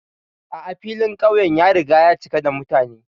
A'a, filin ƙauyen ya riga ya cika da mutane.